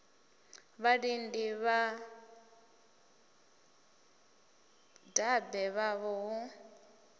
vhalidi na vhadabe vhavho hu